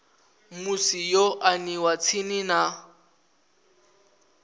musi yo aniwa tsini na